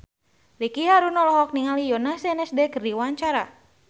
Ricky Harun olohok ningali Yoona SNSD keur diwawancara